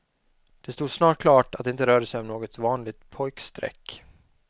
Det stod snart klart att det inte rörde sig om något vanligt pojkstreck.